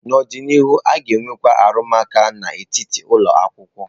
N'ọdịnihu, a ga-enwekwu arụmụka n'etiti ụlọ akwụkwọ.